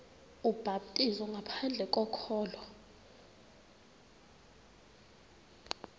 ubhaptizo ngaphandle kokholo